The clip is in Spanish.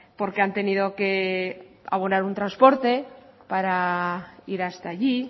porque han tenido que abonar un transporte para ir hasta allí